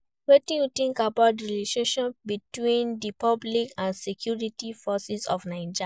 Wetin you think about di relationship between di public and security forces of Naija?